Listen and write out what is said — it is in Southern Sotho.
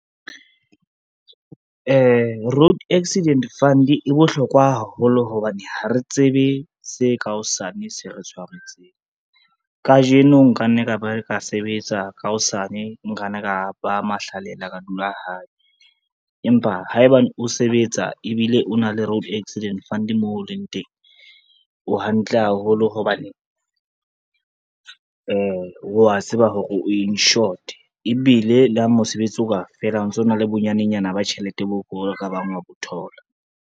Road accident fund e bohlokwa haholo hobane ha re tsebe se ka hosane se re tshwareng, kajeno nkanne ka ba ka sebetsa ka hosane nkanne ka ba mahlalela ka dula hae. Empa haebane o sebetsa ebile o na le road accident fund moo o leng teng, o hantle haholo hobane wa tseba hore o insured, ebile le ha mosebetsi o ka fela ho ntsona le bonyanenyana ba tjhelete bo o ka bang wa bo thola.